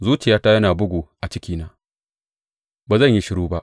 Zuciyata yana bugu a cikina, Ba zan yi shiru ba.